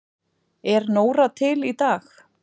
Er Nóra til í dag?